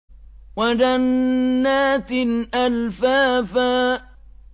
وَجَنَّاتٍ أَلْفَافًا